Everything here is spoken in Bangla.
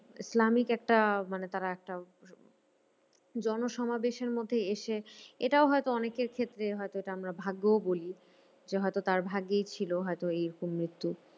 ইসলামিক একটা মানে তারা একটা জনসমাবেশের মধ্যে এসে এটাও হয়তো অনেকের ক্ষেত্রে হয়ত এটা আমরা ভাগ্যও বলি যে হয়তো তার ভাগ্যেই ছিল হয়তো এইরকম মৃত্যু।